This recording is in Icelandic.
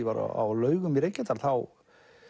var á Laugum í Reykjadal þá